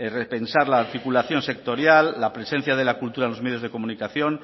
pensar la articulación sectorial la presencia de la cultura en los medios de comunicación